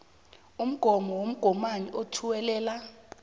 umgomo womgomani othuwelela